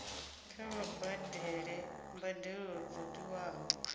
kha vha badele mbadelo dzo tiwaho